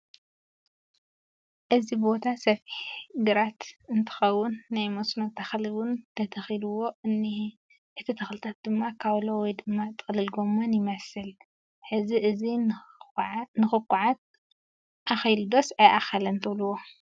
እዚ ቦታ ሰፊሕ ግራይ እንትኸውን ናይ መስኖ ተኽሊ 'ውን ተተኺልዎ እንኤ እቲ ተክሊታት ድማ ካውሎ ወይ ድማ ጥቕልል ጎመን ይመስል ፡ ሕዚ እዚ ንኽኩዓት ኣኺሎ ዶስ ኣይኣኸለን ትብልዎ ?